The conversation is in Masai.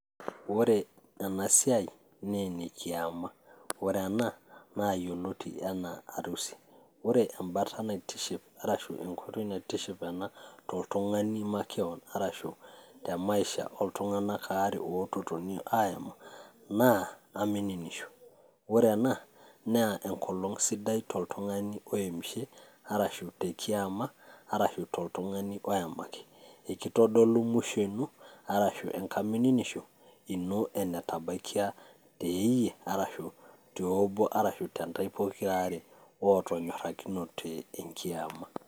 Ore enasiai ,na ene kiama ore ena nayioloti anaa harusi ore embata naitiship arashu ena enkoitoi naitiship ena toltungani makeon arashu te maisha oltunganak aare oinotote airo naa ,Ore ena naa enkolong sidai toltungani oemishe, arashu tekiama arashu toltungani oemaki, itodolu mwisho ino arashu nkamimininisho ino enetabakia teeyie arashu teobo arashu tontae pokiraare otonyorakinote kiema .